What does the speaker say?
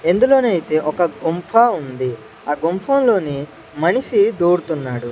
ఇందులోనైతే ఒక గుంఫా ఉంది ఆ గుంఫా లోని మనిషి దూరుతున్నాడు.